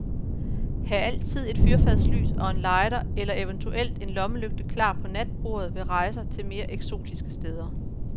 Hav altid et fyrfadslys og en lighter eller eventuelt en lommelygte klar på natbordet ved rejser til mere eksotiske steder.